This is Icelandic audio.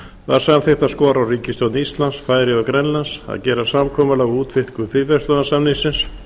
var samþykkt að skora á ríkisstjórnir íslands færeyja og grænlands að gera samkomulag um útvíkkun fríverslunarsamningsins